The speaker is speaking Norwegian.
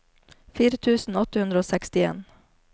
fire tusen åtte hundre og sekstien